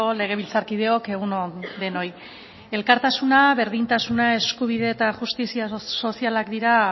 legebiltzarkideok egun on denoi elkartasuna berdintasuna eskubide eta justizia sozialak dira